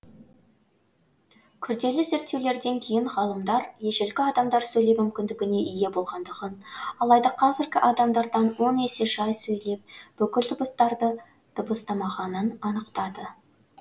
күрделі зерттеулерден кейін ғалымдар ежелгі адамдар сөйлеу мүмкіндігіне ие болғандығын алайда қазіргі адамдардан он есе жай сөйлеп бүкіл дыбыстарды дыбыстамағанын анықтады